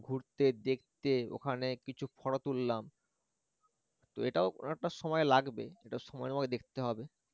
ঘুরতে দেখতে ওখানে কিচু photo তুললাম তো এটাও অনেকটা সময় লাগবে এটা সময় দেখতে হবে